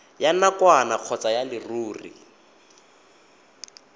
ya nakwana kgotsa ya leruri